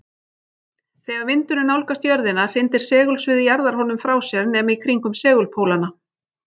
Þegar vindurinn nálgast jörðina hrindir segulsvið jarðarinnar honum frá sér nema í kringum segulpólana.